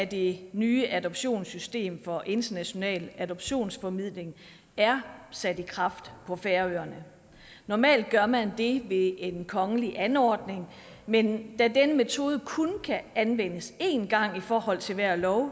det nye adoptionssystem for international adoptionsformidling er sat i kraft på færøerne normalt gør man det ved en kongelig anordning men da denne metode kun kan anvendes en gang i forhold til hver lov